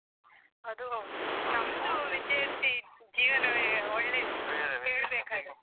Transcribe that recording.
ಅದು ಹೌದು ವಿದ್ಯಾರ್ಥಿ ಜೀವನವೆ ಒಳ್ಳೇದು .